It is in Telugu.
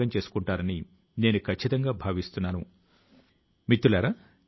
దేశప్రజలందరూ కలసి నడిపిస్తున్న దేశపు కొత్త ఆలోచన ఇది